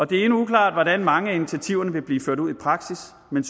det er endnu uklart hvordan mange af initiativerne vil blive ført ud i praksis men